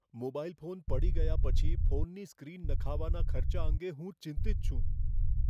Mobile phone પડી ગયા પછી ફોનની સ્ક્રીન નખાવવાના ખર્ચા અંગે હું ચિંતિત છું.